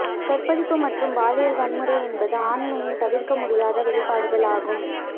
கற்பழிப்பு மற்றும் பாலியல் வன்முறை என்பது ஆண்மையின் தவிர்க்க முடியாத வெளிப்பாடுகள் ஆகும்